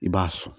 I b'a sɔn